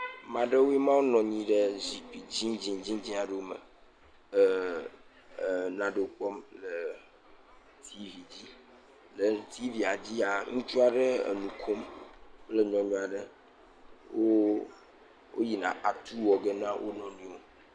Ame aɖewoe ma nɔ anyi ɖe zikpui dzĩdzĩ dzĩdzĩ aɖewo me le neɖewo kpɔm le TV dzi le TVia dzia ŋutsu aɖe nukom kple nyɔnu aɖe woyina atu wɔge na wonɔewo